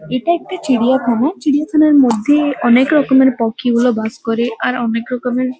এটা একটা চিড়িয়াখানা চিড়িয়াখানার মধ্যে অনেক রকমের পক্ষীগুলো বাস করে আর অনেক রকমের --